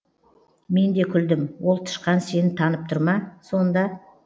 мен де күлдім ол тышқан сені танып тұр ма сонда